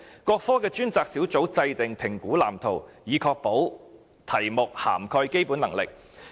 各科的專責小組制訂評估藍圖，以確保題目涵蓋基本能力。